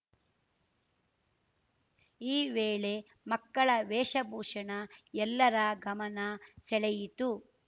ಈ ವೇಳೆ ಮಕ್ಕಳ ವೇಷ ಭೂಷಣ ಎಲ್ಲರ ಗಮನ ಸೆಳೆಯಿತು